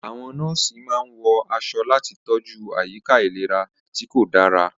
Àwọn nọ́ọ̀sì máa ń wọ aṣọ láti tọ́jú àyíká ìlera tí kò dára.